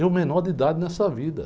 Eu menor de idade nessa vida.